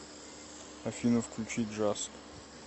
афина включи джаз